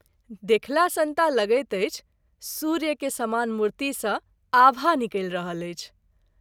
देखला सन्ता लगैत अछि सूर्य के समान मूर्ति सँ आभा निकलि रहल अछि।